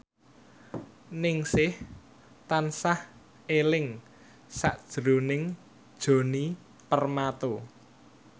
Ningsih tansah eling sakjroning Djoni Permato